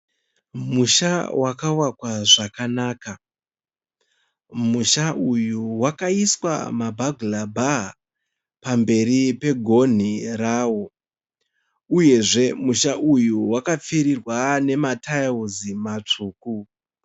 Musha wakavakwa zvakanaka. Musha uyu wakaiswa mabhagarabhaa pamberi pagoni rawo. Uyezve musha uyu wakapfirirwa nema tairizi matsvuku.